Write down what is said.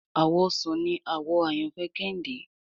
Àwọ̀ ọsàn ní àwò àyànfẹ Kehinde